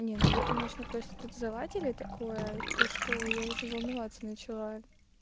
не ну вы конечно просто тут залатили такое то что я уже волноваться начала